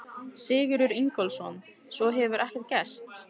Sigurður Ingólfsson: Svo hefur ekkert gerst?